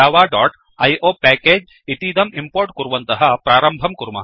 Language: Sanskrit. javaआईओ पैकेज इतीदं इम्पोर्ट् कुर्वन्तः प्रारम्भं कुर्मः